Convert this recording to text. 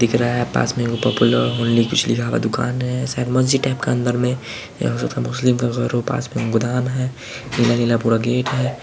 दिख रहा है सामने पोपुलर होली का दुकान है सकमोनजी टाइप का अंदर मे यहाँ कुछ मुस्लिम का पास मे एक गोदाम है नीला-नीला पूरा गेट है।